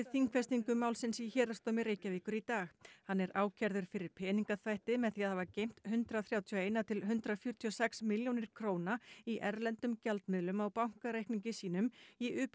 þingfestingu málsins í Héraðsdómi Reykjavíkur í dag hann er ákærður fyrir peningaþvætti með því að hafa geymt hundrað þrjátíu og eitt til hundrað fjörutíu og sex milljónir króna í erlendum gjaldmiðlum á bankareikningi sínum í